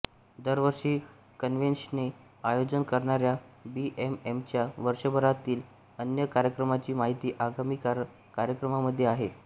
दरवर्षी कन्व्हेन्शनचे आयोजन करणार्या बीएमएमच्या वर्षभरातील अन्य कार्यक्रमांची माहिती आगामी कार्यक्रममध्ये आहे